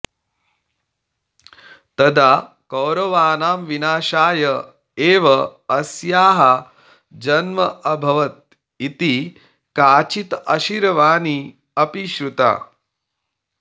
तदा कौरवाणां विनाशाय एव अस्याः जन्म अभवत् इति काचित् अशीरवाणि अपि श्रुता